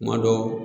Kuma dɔ